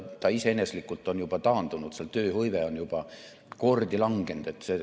Ta on iseeneslikult juba taandunud, seal on tööhõive juba mitu korda langenud.